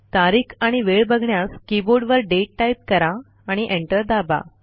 तारीख आणि वेळ बघण्यास कीबोर्डवर दाते टाईप करा आणि एंटर दाबा